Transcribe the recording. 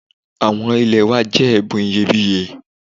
Àwọn ilẹ̀ wa jẹ́ ẹ̀bùn iyebíye